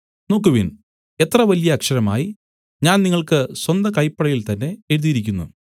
നോക്കുവിൻ എത്ര വലിയ അക്ഷരമായി ഞാൻ നിങ്ങൾക്ക് സ്വന്ത കൈപ്പടയിൽതന്നെ എഴുതിയിരിക്കുന്നു